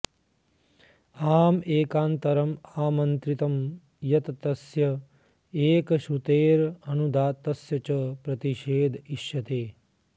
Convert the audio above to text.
आम एकान्तरम् आमन्त्रितं यत् तस्य एकश्रुतेरनुदात्तस्य च प्रतिषेध इष्यते